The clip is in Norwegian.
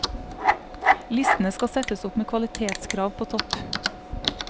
Listene skal settes opp med kvalitetskrav på topp.